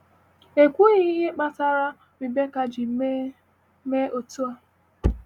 A kwughị ihe kpatara Rebekah ji mee mee otu a.